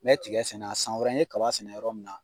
Mɛ tigɛ sɛnɛ yan san wɛrɛ n ye kaba sɛnɛ yɔrɔ min na